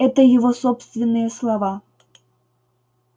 это его собственные слова